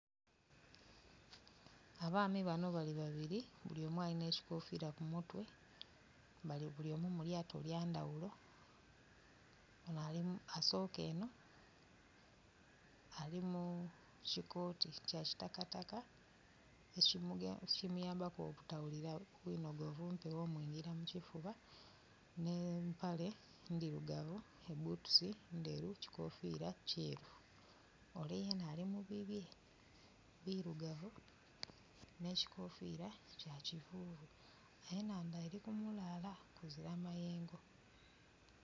Abaami bano bali babiri bulyomu alina ekikofira ku mutwe bali bulyomu mu lyato lyandhaghulo ono asoka eno ali mu kikooti ekya kitakataka ekimuyambaku obutaghulila bwinhogovu mpegho mwingila mu kifuba ne mpale ndhirugavu, ebutusi ndheru, kikofira kyeru ole yena ali mu bibye birugavu ne kikofira kya kivuvu. Enhandha eri ku mulala kuzira mayengo.